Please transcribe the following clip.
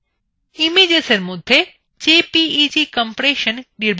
ইমেজেসএর মধ্যে jpeg compression নির্বাচন করুন